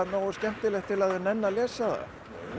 nógu skemmtilegt til að nenna að lesa það